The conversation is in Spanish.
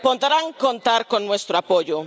Podrán contar con nuestro apoyo.